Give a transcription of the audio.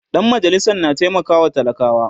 Dan majalisan na taimakawa talakawa